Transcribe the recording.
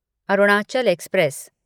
Arunachal express